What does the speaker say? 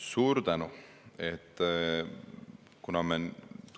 Suur tänu!